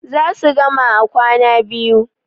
za su gama a kwana biyu